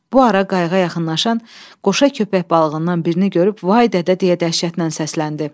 Bu ara qayığa yaxınlaşan qoşa köpək balığından birini görüb vay dədə deyə dəhşətlə səsləndi.